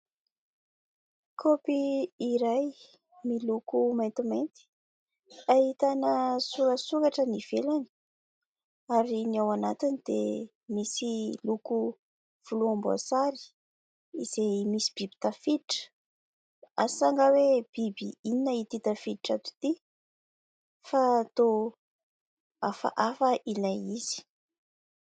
Kaopy iray miloko maintimainty ahitana sorasoratra ny ivelany ary ny ao anatiny dia misy loko volomboasary izay misy biby tafiditra, asa angaha hoe biby inona ity tafiditra ato ity fa toa hafahafa ilay izy.